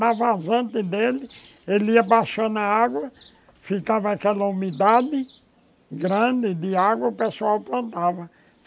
Na vazante dele, ele ia baixando a água, ficava aquela umidade grande de água, o pessoal plantava.